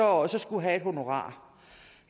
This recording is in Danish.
også skulle have et honorar